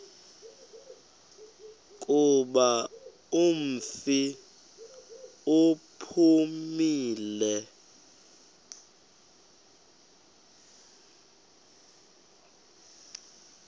kuba umfi uphumile